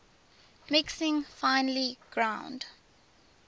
mixing finely ground